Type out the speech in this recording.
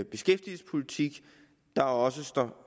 beskæftigelsespolitik der også står